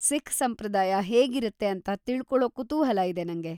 ಸಿಖ್ ಸಂಪ್ರದಾಯ ಹೇಗಿರತ್ತೆ ಅಂತ ತಿಳ್ಕೊಳೋ ಕುತೂಹಲ ಇದೆ ನಂಗೆ.